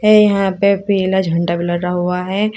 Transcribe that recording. ये यहां पे पीला झंडा भी लगा हुआ है।